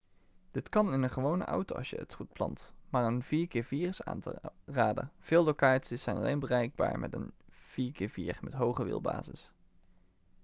dit kan in een gewone auto als je het goed plant maar een 4x4 is aan te raden; veel locaties zijn alleen bereikbaar met een 4x4 met hoge wielbasis